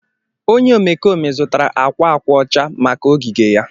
onye omekome zụtara akwa akwa ọcha maka ogige Ya.